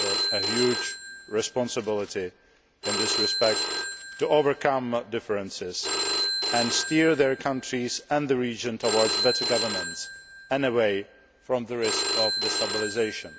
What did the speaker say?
a huge responsibility in this respect to overcome differences and steer their countries and the region towards better governance and away from the risk of destabilisation.